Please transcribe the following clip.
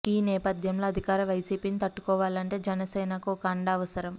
ఈ నేపథ్యంలో అధికార వైసీపీని తట్టుకోవాలంటే జనసేనకు ఒక అండ అవసరం